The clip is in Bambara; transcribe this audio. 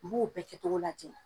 N b'o bɛɛ kɛ cogo lajɛ.